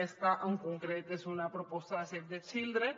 aquesta en concret és una proposta de save the children